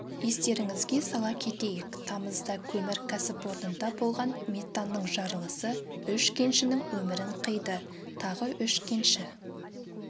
естеріңізге сала кетейік тамызда көмір кәсіпорнында болған метанның жарылысы үш кеншінің өмірін қиды тағы үш кенші